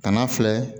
Kana filɛ